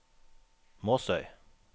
Måsøy